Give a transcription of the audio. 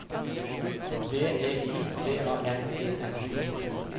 V E I B A N E N